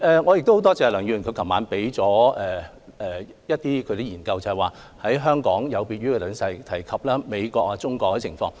我很感謝梁議員昨晚向我提交了一些研究結果，顯示香港有別於美國和中國內地等地的情況。